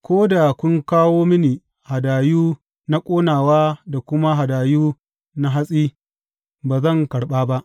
Ko da kun kawo mini hadayu na ƙonawa da kuma hadayu na hatsi, ba zan karɓa ba.